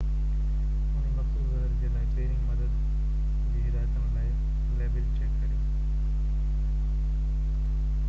انهي مخصوص زهر جي لاءِ پهرين مدد جي هدايتن لاءِ ليبل چيڪ ڪريو